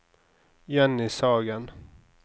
Jenny Sagen